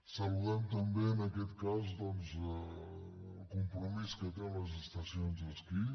saludem també en aquest cas doncs el compromís que té amb les estacions d’esquí